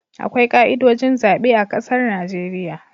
Akwai ka'idojin zabe a ƙasar Najeriya